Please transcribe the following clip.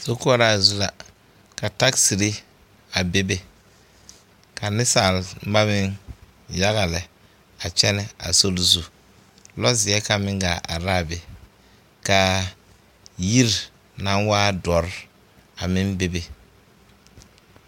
Sokoɔraa zu la ka tagiziri a bebe ka nensalba meŋ yaga lɛ a kyɛnɛ a suli zu lɔɔzeɛ kaŋ meŋ gaa are l,a be k,a yiri nsŋ waa dɔre a meŋ bebe.